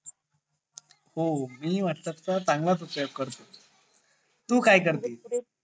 हो मी व्हॅटप्प्स चा चांगला चा उपयोग करतो तू काय करते